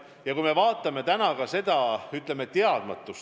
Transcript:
Ja arvestame ka praegust teadmatust!